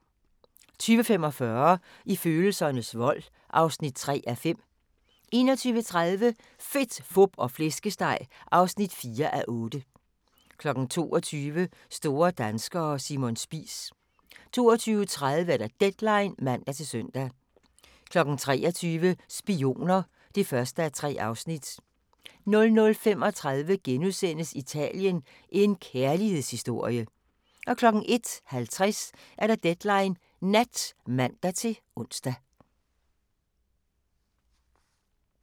20:45: I følelsernes vold (3:5) 21:30: Fedt, fup og flæskesteg (4:8) 22:00: Store danskere – Simon Spies 22:30: Deadline (man-søn) 23:00: Spioner (1:3) 00:35: Italien – en kærlighedshistorie! * 01:50: Deadline Nat (man-ons)